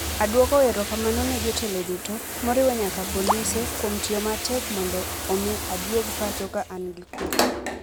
Adwoko erokamano ne jotelo duto, moriwo nyaka polise, kuom tiyo matek mondo omi aduog pacho ka an gi kuwe".